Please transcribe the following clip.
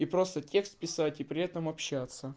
и просто текст писать и при этом общаться